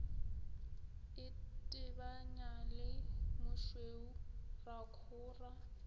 itebanya le mošweu ra khora